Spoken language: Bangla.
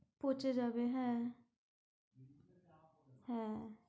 পচে যাবে হ্যাঁ, হ্যাঁ